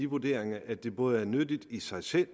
vurdering at det både er nyttigt i sig selv